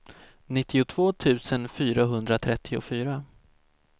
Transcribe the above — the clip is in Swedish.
nittiotvå tusen fyrahundratrettiofyra